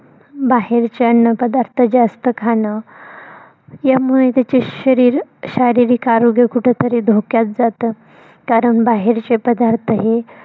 बाहेरचे अन्न पदार्थ जास्त खाण यामुळे त्याचे शरीर शारीरिक आरोग्य कुठतरी धोक्यात जात कारण बाहेरचे पदार्थ हे